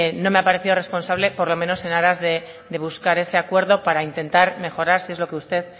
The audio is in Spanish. no me ha parecido responsable por lo menos en aras de buscar ese acuerdo para intentar mejorar si es lo que usted